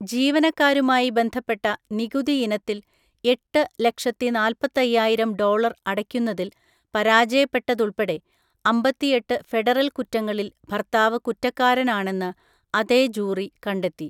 ജീവനക്കാരുമായി ബന്ധപ്പെട്ട നികുതിയിനത്തിൽ എട്ട് ലക്ഷത്തിനാല്പത്തയ്യായിരം ഡോളർ അടയ്ക്കുന്നതിൽ പരാജയപ്പെട്ടതുൾപ്പെടെ അമ്പത്തിഎട്ട് ഫെഡറൽ കുറ്റങ്ങളിൽ ഭർത്താവ് കുറ്റക്കാരനാണെന്ന് അതേ ജൂറി കണ്ടെത്തി.